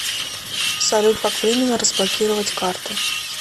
салют как временно разблокировать карту